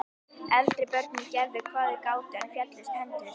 Eldri börnin gerðu hvað þau gátu, en féllust hendur.